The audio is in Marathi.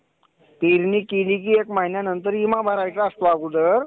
पेरणी केली की एक महिन्यांनंतर विमा भरायचा असतो अगोदर